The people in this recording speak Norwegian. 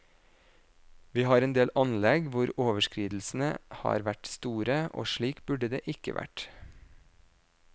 Vi har en del anlegg hvor overskridelsene har vært store, og slik burde det ikke vært.